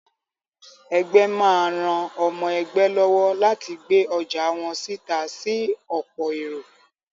Ẹgbẹ́ má ran ọmọ ẹgbé lọ́wọ́ láti gbé ọjà wọ́n síta sí ọ̀pọ̀ èrò.